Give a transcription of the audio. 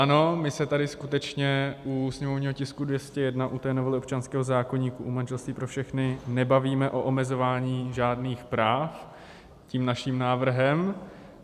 Ano, my se tady skutečně u sněmovního tisku 201, u té novely občanského zákoníku, u manželství pro všechny, nebavíme o omezování žádných práv tím naším návrhem.